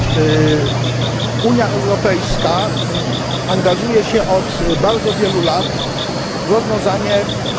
Unia Europejska angażuje się od bardzo wielu lat w rozwiązanie konfliktu w Sudanie.